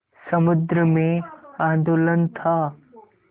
समुद्र में आंदोलन था